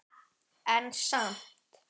En samt.